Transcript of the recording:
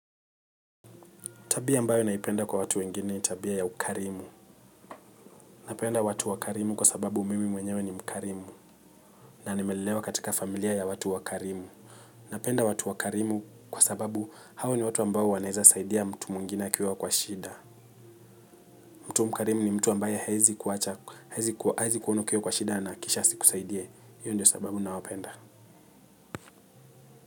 Tabia ambayo naipenda kwa watu wengine ni tabia ya ukarimu. Napenda watu wakarimu kwa sababu mimi mwenyewe ni mkarimu. Na nimelelewa katika familia ya watu wakarimu. Napenda watu wakarimu kwa sababu hawa ni watu ambao wanaeza saidia mtu mwingine akiwa kwa shida. Mtu mkarimu ni mtu ambaye haezi kuwacha, haezi kuona ukiwa kwa shida na kisha asikusaidie. Hiyo ndio sababu nawapenda.